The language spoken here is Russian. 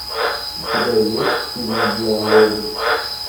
у тебя есть фильм диалоги